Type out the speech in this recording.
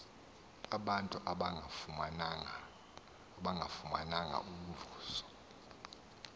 abantu abangafumananga mvuzo